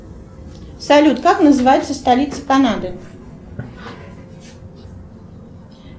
салют как называется столица канады